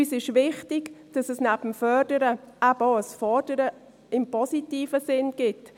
Uns ist wichtig, dass es neben dem Fördern eben auch ein Fordern im positiven Sinn gibt.